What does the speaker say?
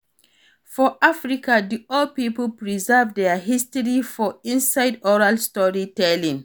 For Africa di old pipo preserve their history for inside oral story telling